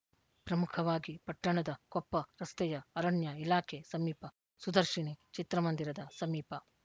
ಪ್ರಮುಖವಾಗಿ ಪಟ್ಟಣದ ಕೊಪ್ಪ ರಸ್ತೆಯ ಅರಣ್ಯ ಇಲಾಖೆ ಸಮೀಪ ಸುದರ್ಶಿನಿ ಚಿತ್ರಮಂದಿರದ ಸಮೀಪ